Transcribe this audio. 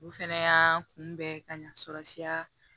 U fɛnɛ y'aa kunbɛ ka ɲa sɔrɔ siya